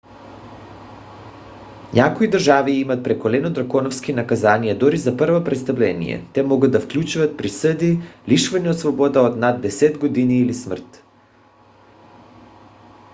някои държави имат прекалено драконовски наказания дори за първо престъпление те могат да включват присъди лишаване от свобода от над 10 години или смърт